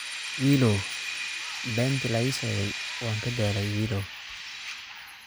Wiiloow beentii la ii sheegay waan ka daalay wiilow